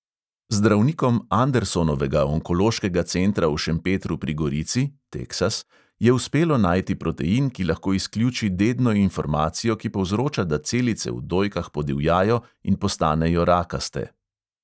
Zdravnikom andersonovega onkološkega centra v šempetru pri gorici je uspelo najti protein, ki lahko izključi dedno informacijo, ki povzroča, da celice v dojkah podivjajo in postanejo rakaste.